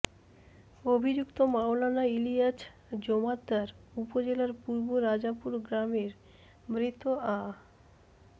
অভিযুক্ত মাওলানা ইলিয়াছ জোমাদ্দার উপজেলার পূর্ব রাজাপুর গ্রামের মৃত আ